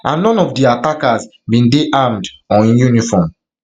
and none of di attackers attackers bin dey armed or in uniform